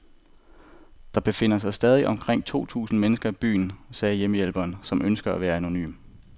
Der befinder sig stadig omkring to tusind mennesker i byen, sagde hjælpearbejderen, som ønskede at være anonym.